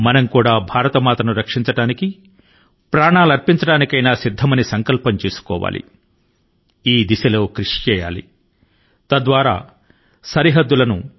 మన భారత మాత భద్రత కోసం మన జవాను లు అత్యున్నత త్యాగం చేసిన సంకల్పం మన జీవిత లక్ష్యం గా ఉండాలి ఇది మనలో ప్రతి ఒక్కరి కి వర్తిస్తుంది